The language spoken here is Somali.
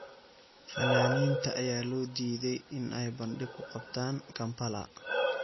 Fanaaniinta ayaa loo diiday in ay bandhig ku qabtaan Kampala.